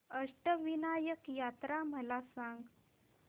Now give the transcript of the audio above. अष्टविनायक यात्रा मला सांग